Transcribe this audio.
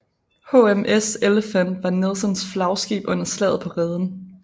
HMS Elephant var Nelsons flagskib under Slaget på Reden